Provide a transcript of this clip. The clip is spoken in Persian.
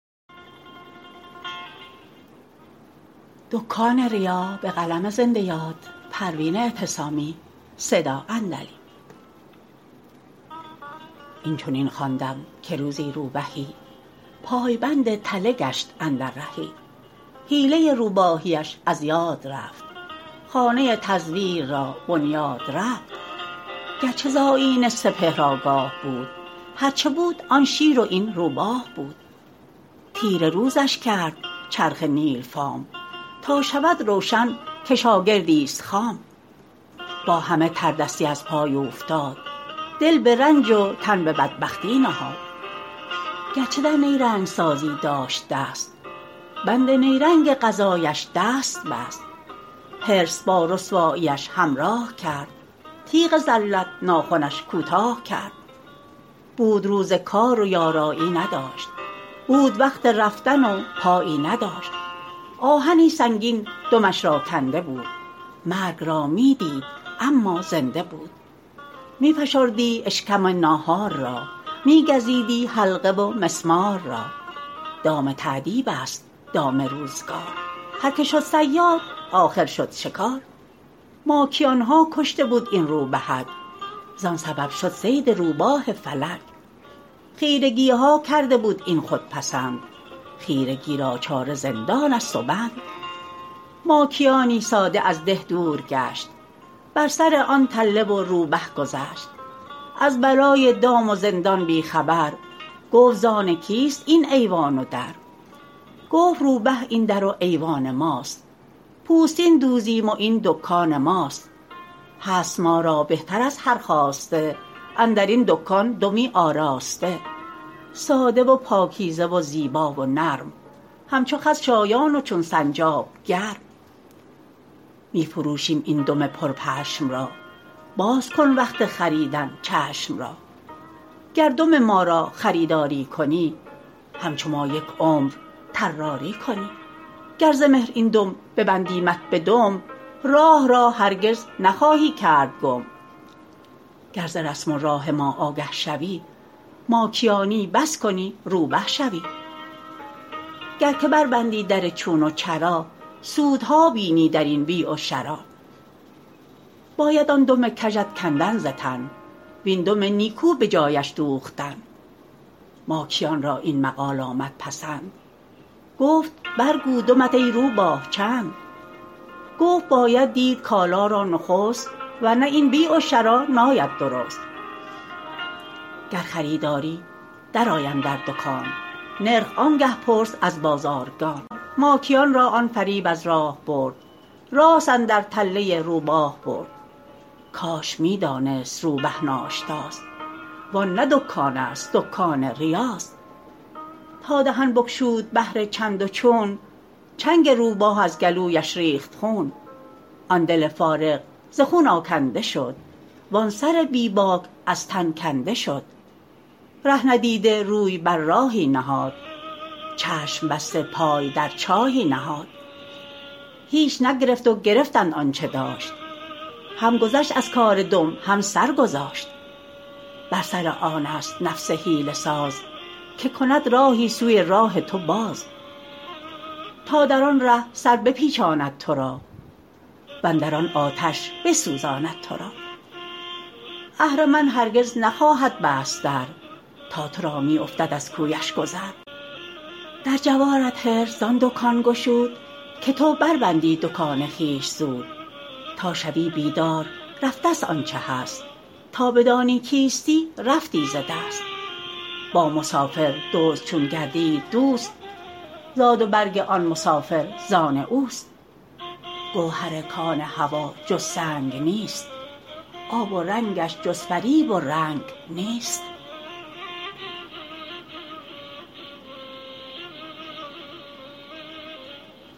این چنین خواندم که روزی روبهی پایبند تله گشت اندر رهی حیله روباهی اش از یاد رفت خانه تزویر را بنیاد رفت گرچه ز آیین سپهر آگاه بود هرچه بود آن شیر و این روباه بود تیره روزش کرد چرخ نیل فام تا شود روشن که شاگردی ست خام با همه تردستی از پای اوفتاد دل به رنج و تن به بدبختی نهاد گرچه در نیرنگ سازی داشت دست بند نیرنگ قضایش دست بست حرص با رسواییش همراه کرد تیغ ذلت ناخنش کوتاه کرد بود روز کار و یارایی نداشت بود وقت رفتن و پایی نداشت آهنی سنگین دمش را کنده بود مرگ را می دید اما زنده بود می فشردی اشکم ناهار را می گزیدی حلقه و مسمار را دام تأدیب است دام روزگار هرکه شد صیاد آخر شد شکار ماکیان ها کشته بود این روبهک زان سبب شد صید روباه فلک خیرگی ها کرده بود این خودپسند خیرگی را چاره زندان ست و بند ماکیانی ساده از ده دور گشت بر سر آن تله و روبه گذشت از بلای دام و زندان بی خبر گفت زان کیست این ایوان و در گفت روبه این در و ایوان ماست پوستین دوزیم و این دکان ماست هست ما را بهتر از هر خواسته اندرین دکان دمی آراسته ساده و پاکیزه و زیبا و نرم همچو خز شایان و چون سنجاب گرم می فروشیم این دم پرپشم را باز کن وقت خریدن چشم را گر دم ما را خریداری کنی همچو ما یک عمر طراری کنی گر ز مهر این دم ببندیمت به دم راه را هرگز نخواهی کرد گم گر ز رسم و راه ما آگه شوی ماکیانی بس کنی روبه شوی گر که بربندی در چون و چرا سودها بینی در این بیع و شریٰ باید آن دم کژت کندن ز تن وین دم نیکو به جایش دوختن ماکیان را این مقال آمد پسند گفت برگو دمت ای روباه چند گفت باید دید کالا را نخست ورنه این بیع و شریٰ ناید درست گر خریداری درآی اندر دکان نرخ آنگه پرس از بازارگان ماکیان را آن فریب از راه برد راست اندر تله روباه برد کاش می دانست روبه ناشتاست وان نه دکان است دکان ریاست تا دهن بگشود بهر چندوچون چنگ روباه از گلویش ریخت خون آن دل فارغ ز خون آکنده شد وان سر بی باک از تن کنده شد ره ندیده روی بر راهی نهاد چشم بسته پای در چاهی نهاد هیچ نگرفت و گرفتند آنچه داشت هم گذشت از کار دم هم سر گذاشت بر سر آن است نفس حیله ساز که کند راهی سوی راه تو باز تا در آن ره سر بپیچاند تو را وندر آن آتش بسوزاند تو را اهرمن هرگز نخواهد بست در تا تو را می افتد از کویش گذر در جوارت حرص زان دکان گشود که تو بربندی دکان خویش زود تا شوی بیدار رفتست آنچه هست تا بدانی کیستی رفتی ز دست با مسافر دزد چون گردید دوست زاد و برگ آن مسافر زان اوست گوهر کان هویٰ جز سنگ نیست آب ورنگش جز فریب و رنگ نیست